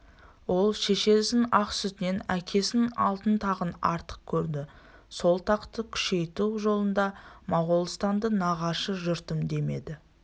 ол шешесінің ақ сүтінен әкесінің алтын тағын артық көрді сол тақты күшейту жолында моғолстанды нағашы жұртымдемеді